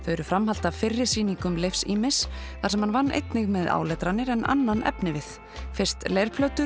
eru framhald af fyrri sýningum Leifs ýmis þar sem hann vann með einnig með áletranir en með annan efnivið fyrst